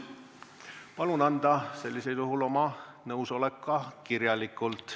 Palun anda sellisel juhul oma nõusolek ka kirjalikult.